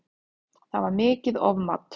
Það var mikið ofmat